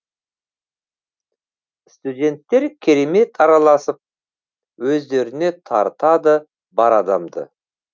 студенттер керемет араласып өздеріне тартады бар адамды